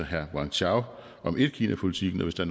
herre wang chao om etkinapolitikken og hvis der